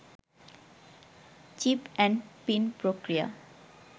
chip and PIN প্রক্রিয়া